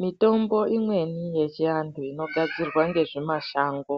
Mitombo imweni yechiantu inogadzirwa ngezvimashango